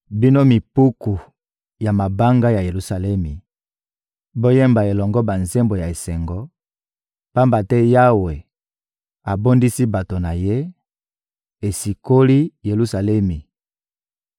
Bino mipiku ya mabanga ya Yelusalemi, boyemba elongo banzembo ya esengo, pamba te Yawe abondisi bato na Ye, asikoli Yelusalemi.